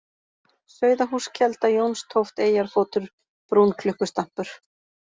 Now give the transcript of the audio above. Sauðahússkelda, Jónstóft, Eyjarfótur, Brúnklukkustampur